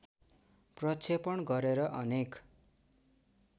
प्रक्षेपण गरेर अनेक